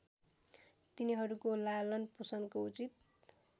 तिनीहरूको लालनपोषणको उचित